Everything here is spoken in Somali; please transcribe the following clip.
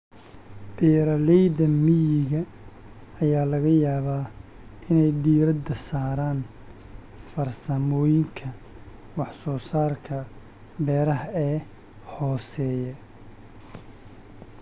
Beeralayda miyiga ayaa laga yaabaa inay diiradda saaraan farsamooyinka wax-soo-saarka beeraha ee hooseeya.